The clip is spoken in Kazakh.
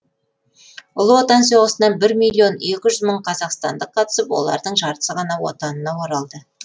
ұлы отан соғысына бір миллион екі жүз мың қазақстандық қатысып олардың жартысы ғана отанына оралды